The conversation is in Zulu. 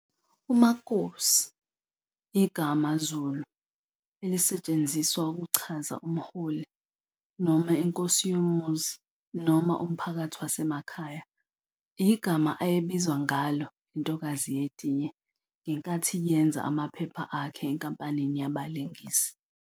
UMakosi igama Zulu elisetshenziswa ukuchaza umholi noma inkosi yomuzi noma umphakathi wasemakhaya, yigama ayebizwa ngalo intokazi yetiye ngenkathi yenza amaphepha akhe enkampanini yabalingisi.